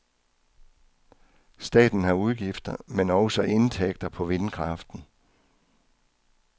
Staten har udgifter, men også indtægter på vindkraften.